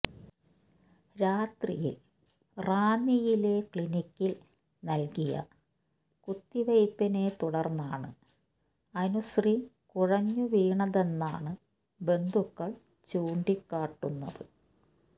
രാത്രിയിൽ റാന്നിയിലെ ക്ലിനിക്കിൽ നൽകിയ കുത്തിവയ്പിനെത്തുടർന്നാണ് അനുശ്രീ കുഴഞ്ഞുവീണതെന്നാണ് ബന്ധുക്കൾ ചൂണ്ടിക്കാട്ടുന്നത്